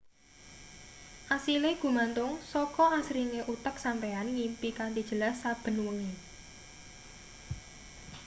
asile gumantung saka asringe utek sampeyan ngimpi kanthi jelas saben wengi